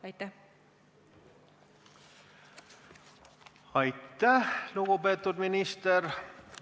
Aitäh, lugupeetud minister!